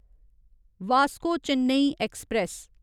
Vasco Chennai express